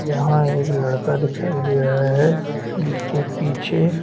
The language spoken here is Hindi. यहाँ एक लड़का दिखाई दे रहा है जिसके पीछे --